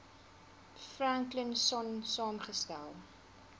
franklin sonn saamgestel